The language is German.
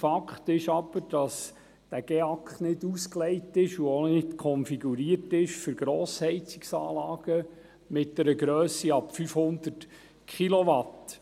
Fakt ist aber, dass dieser GEAK nicht ausgelegt ist und auch nicht konfiguriert ist für Grossheizungsanlagen mit einer Grösse ab 500 Kilowatt.